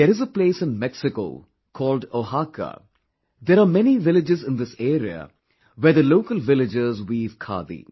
There is a place in Mexico called Oaxaca, there are many villages in this area where the local villagers weave khadi